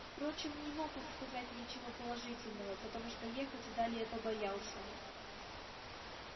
впрочем не мог он сказать ничего положительного потому что ехать далее побоялся